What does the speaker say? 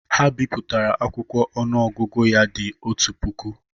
Ha bipụtara akwụkwọ ọnụọgụgụ ya dị otú puku